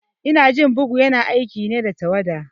Inajin bugu ya na aiki ne da tawada